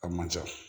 A man ca